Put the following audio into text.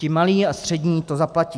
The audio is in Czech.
Ti malí a střední to zaplatí.